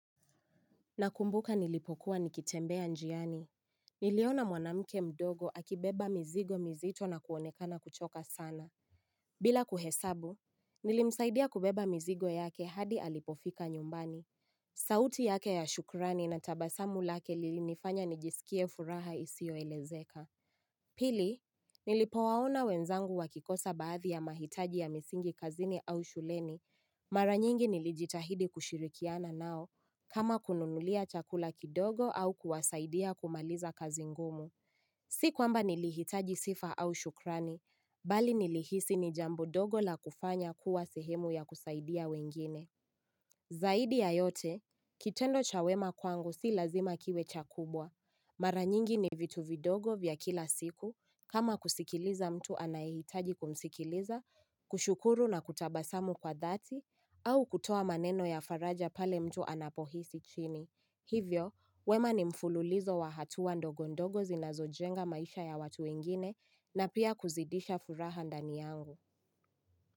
Nakumbuka nilipokuwa nikitembea njiani. Niliona mwanamke mdogo akibeba mizigo mizito na kuonekana kuchoka sana. Bila kuhesabu, nilimsaidia kubeba mizigo yake hadi alipofika nyumbani. Sauti yake ya shukrani na tabasamu lake lilinifanya nijisikie furaha isiyoelezeka. Pili, nilipowaona wenzangu wakikosa baadhi ya mahitaji ya misingi kazini au shuleni. Mara nyingi nilijitahidi kushirikiana nao, kama kununulia chakula kidogo au kuwasaidia kumaliza kazi ngumu. Si kwamba nilihitaji sifa au shukrani, bali nilihisi ni jambo dogo la kufanya kuwa sehemu ya kusaidia wengine. Zaidi ya yote, kitendo cha wema kwangu si lazima kiwe cha kubwa. Mara nyingi ni vitu vidogo vya kila siku, kama kusikiliza mtu anayehitaji kumsikiliza, kushukuru na kutabasamu kwa dhati au kutoa maneno ya faraja pale mtu anapohisi chini. Hivyo, wema ni mfululizo wa hatua ndogo ndogo zinazojenga maisha ya watu wengine na pia kuzidisha furaha ndani yangu.